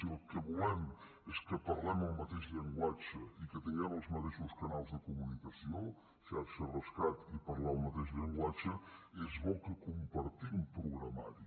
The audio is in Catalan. si el que volem és que parlem el mateix llenguatge i que tinguem els mateixos canals de comunicació xarxa rescat i parlar el mateix llenguatge és bo que compartim programari